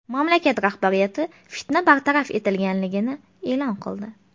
Mamlakat rahbariyati fitna bartaraf etilganini e’lon qildi.